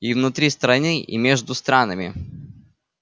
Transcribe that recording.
и внутри страны и между странами